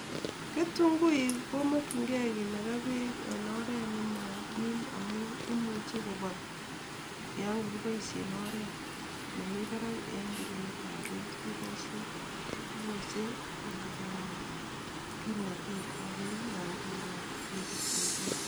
Ketunguik komakyingei kinaga peek en oret ne ma kiim amun imuche kopol yon kagipoisien oret nemi parak en pirunetap peek kepoisien kiposen ng'alekap kimnatetap peek yon kinogi peek ketunguik